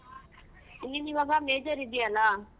ನೀನ್ ಇವಾಗ major ಇದ್ಯಲ್ಲ.